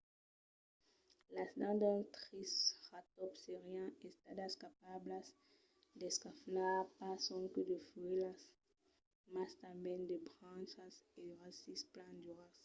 las dents d’un triceratòps serián estadas capablas d'esclafar pas sonque de fuèlhas mas tanben de brancas e de rasics plan duras